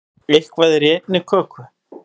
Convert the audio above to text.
Eitthvað er í einni köku